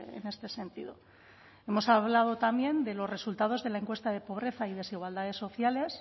en este sentido hemos hablado también de los resultados de la encuesta de pobreza y desigualdades sociales